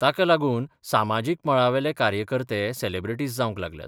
ताका लागून सामाजीक मळावेले कार्यकर्तेय सेलेब्रेटिस जावंक लागल्यात.